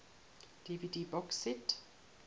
dvd box set